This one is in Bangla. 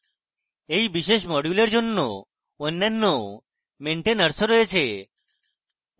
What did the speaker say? এই বিশেষ module এর জন্য অন্যান্য maintainers of রয়েছে